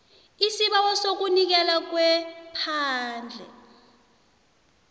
isibawo sokunikelwa kwephandle